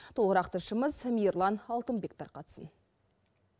толығырақ тілшіміз мирлан алтынбек тарқатсын